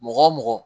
Mɔgɔ o mɔgɔ